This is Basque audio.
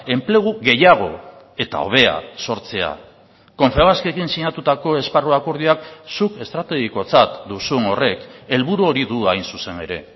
enplegu gehiago eta hobea sortzea confebaskekin sinatutako esparru akordioak zuk estrategikotzat duzun horrek helburu hori du hain zuzen ere